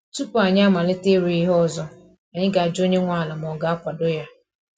Tupu anyi amalite ịrụ ihe ọzọ, anyị ga ajụ onye nwe ala ma ọ ga-akwado ya